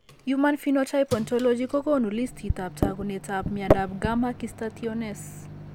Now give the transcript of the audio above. Human Phenotype Ontology kokoonu listiitab taakunetaab myondap Gamma cystathionase.